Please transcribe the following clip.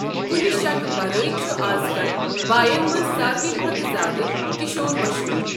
کُنہ شکہٕ ورٲے چھُ آز کل بایَن منٛز ساروٕے کھۄتہٕ زِیٛادٕ کشور مشہوٗر۔